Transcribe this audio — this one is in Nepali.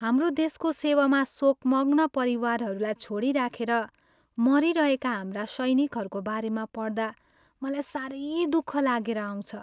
हाम्रो देशको सेवामा शोकमग्न परिवारहरूलाई छोडिराखेर मरिरहेका हाम्रा सैनिकहरूको बारेमा पढ्दा मलाई साह्रै दुःख लागेर आउँछ।